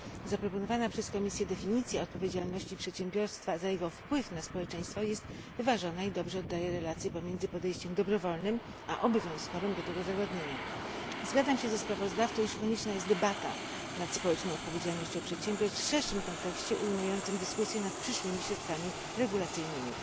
Zaproponowana przez Komisję definicja odpowiedzialności przedsiębiorstwa za jego wpływ na społeczeństwo jest wyważona i dobrze oddaje relacje pomiędzy podejściem dobrowolnym a obowiązkowym do tego zagadnienia. Zgadzam się ze sprawozdawcą, iż konieczna jest debata nad społeczną odpowiedzialnością przedsiębiorstw w szerszym kontekście, ujmującym dyskusję nad przyszłymi środkami regulacyjnymi.